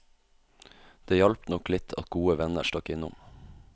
Det hjalp nok litt at gode venner stakk innom.